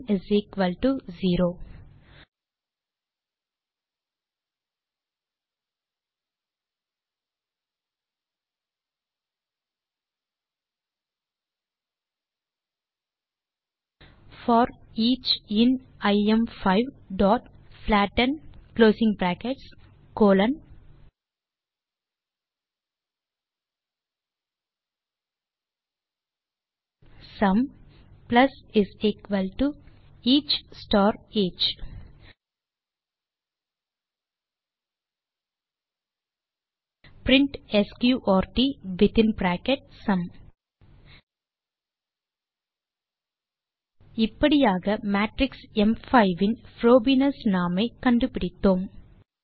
சும் 0 போர் each in ஐஎம்5 dot flatten sum plus each star each print sqrt within bracket sum இப்படியாக matrix ம்5 in Frobenius norm ஐ கண்டுபிடித்தோம்